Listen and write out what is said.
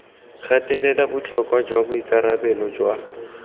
gatelela botlhokwa jwa boikarabelo jwa